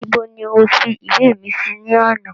Ibo ni o fi ìwé mi sí ní àná